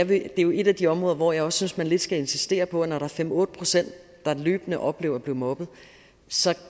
det er jo et af de områder hvor jeg synes man lidt skal insistere på at når der er fem otte pct der løbende oplever at blive mobbet